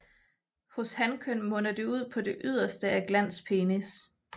Hos hankøn munder det ud det på det yderste af glans penis